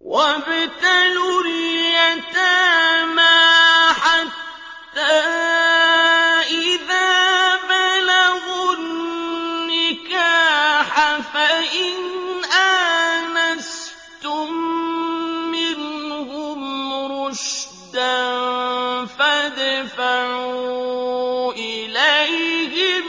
وَابْتَلُوا الْيَتَامَىٰ حَتَّىٰ إِذَا بَلَغُوا النِّكَاحَ فَإِنْ آنَسْتُم مِّنْهُمْ رُشْدًا فَادْفَعُوا إِلَيْهِمْ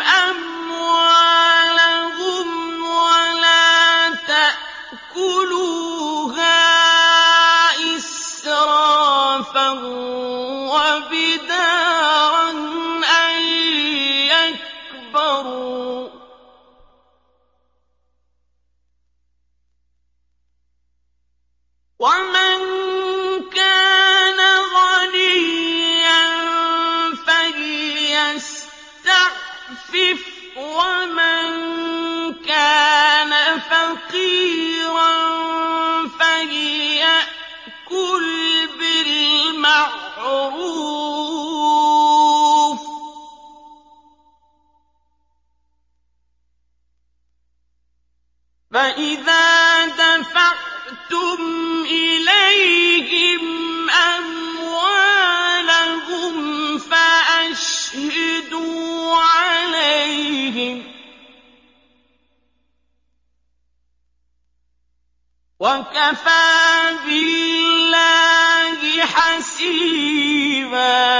أَمْوَالَهُمْ ۖ وَلَا تَأْكُلُوهَا إِسْرَافًا وَبِدَارًا أَن يَكْبَرُوا ۚ وَمَن كَانَ غَنِيًّا فَلْيَسْتَعْفِفْ ۖ وَمَن كَانَ فَقِيرًا فَلْيَأْكُلْ بِالْمَعْرُوفِ ۚ فَإِذَا دَفَعْتُمْ إِلَيْهِمْ أَمْوَالَهُمْ فَأَشْهِدُوا عَلَيْهِمْ ۚ وَكَفَىٰ بِاللَّهِ حَسِيبًا